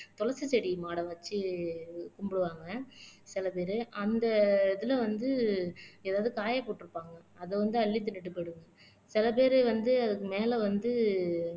துளசி செடி மாடை வச்சு கும்பிடுவாங்க சில பேரு அந்த இதுல வந்து ஏதாவது காயப்போட்டு இருப்பாங்க அதை வந்து அள்ளி தின்னுட்டு போயிடும் சில பேரு வந்து அதுக்கு மேல வந்து